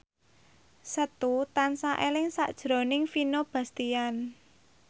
Setu tansah eling sakjroning Vino Bastian